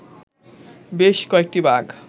বেশ কয়েকটি বাঘ